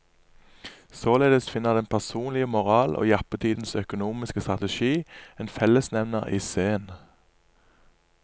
Således finner den personlige moral og jappetidens økonomiske strategi en fellesnevner i zen.